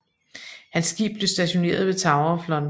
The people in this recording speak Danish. Hans skibe blev stationeret ved Tower of London